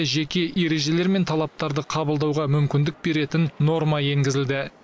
жеке ережелер мен талаптарды қабылдауға мүмкіндік беретін норма енгізілді